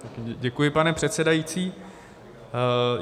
Děkuji, pane předsedající.